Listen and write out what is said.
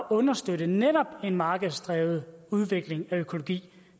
understøtte netop en markedsdrevet udvikling af økologi